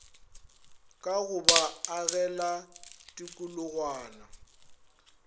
ka go ba agela tikologwana